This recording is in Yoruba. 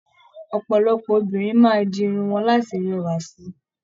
Ọpọlọpọ obìnrin máa di irun wọn láti rẹwa sí.